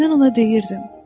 Mən ona deyirdim.